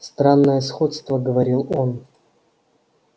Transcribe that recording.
странное сходство говорил он